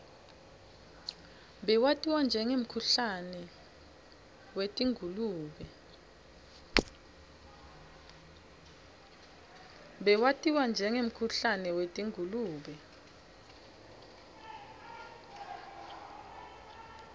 bewatiwa njengemkhuhlane wetingulube